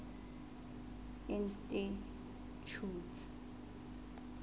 institjhute